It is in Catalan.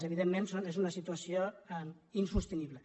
evidentment és una situació insostenible